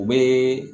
U bɛ